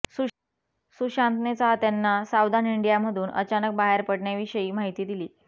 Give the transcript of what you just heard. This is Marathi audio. सुशांतने चाहत्यांना सावधान इंडियामधून अचानक बाहेर पडण्याविषयी माहिती दिली